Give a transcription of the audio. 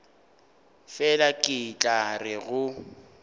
fela ke tla re go